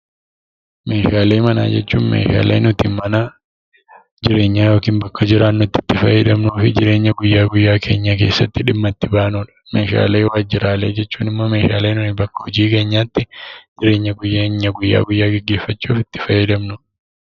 Meeshaalee manaa jechuun meeshaalee nuti mana jireenyaa yookiin bakka jiraannutti fayyadamnu yookiin jireenya guyyaa guyyaa keenyaa keessatti dhimma itti baanudha. Meeshaalee Waajjiraalee jechuun immoo meeshaalee nuyi bakka hojii keenyaatti jireenya keenya guyyaa guyyaa geggeeffachuuf itti fayyadamnudha.